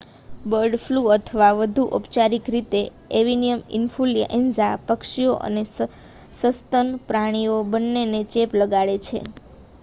bird flu અથવા વધુ ઔપચારિક રીતે એવિયન ઈન્ફલ્યુએન્ઝા પક્ષીઓ અને સસ્તન પ્રાણીઓ બંનેને ચેપ લગાડે છે